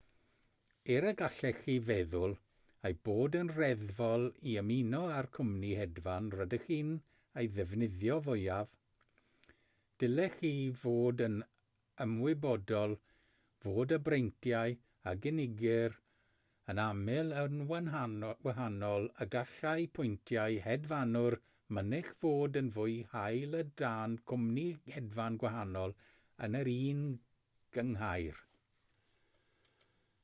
er y gallech chi feddwl ei bod yn reddfol i ymuno â'r cwmni hedfan rydych chi'n ei ddefnyddio fwyaf dylech chi fod yn ymwybodol fod y breintiau a gynigir yn aml yn wahanol a gallai pwyntiau hedfanwr mynych fod yn fwy hael o dan gwmni hedfan gwahanol yn yr un gynghrair